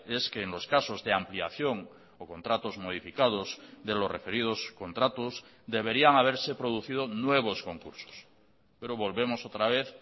es que en los casos de ampliación o contratos modificados de los referidos contratos deberían haberse producido nuevos concursos pero volvemos otra vez